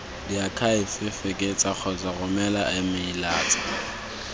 diakhaefe fekesa kgotsa romela emeilatsa